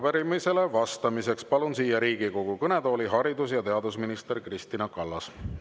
Ja arupärimisele vastamiseks palun siia Riigikogu kõnetooli haridus- ja teadusminister Kristina Kallase.